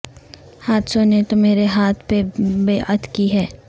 حادثوں نے تو مرے ہاتھ پہ بیعت کی ہے